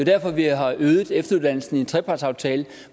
derfor at vi har øget efteruddannelsen i en trepartsaftale